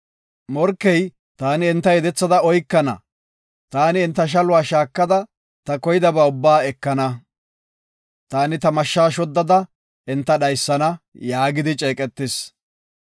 “Morkey, ‘Taani enta yedethada oykana; taani enta shaluwa shaakada, ta koydaba ubbaa ekana. Taani ta mashsha shoddada enta dhaysana’ yaagidi ceeqetis.